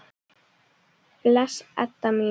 Bless, Edda mín.